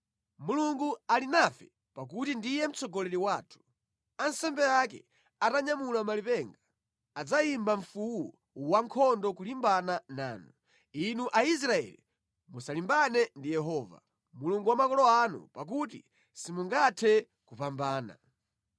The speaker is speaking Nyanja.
Mulungu ali nafe pakuti ndiye mtsogoleri wathu. Ansembe ake atanyamula malipenga, adzayimba mfuwu wankhondo kulimbana nanu. Inu Aisraeli musalimbane ndi Yehova, Mulungu wa makolo anu, pakuti simungathe kupambana.”